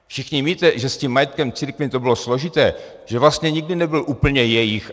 Všichni víte, že s tím majetkem církvím to bylo složité, že vlastně nikdy nebyl úplně jejich.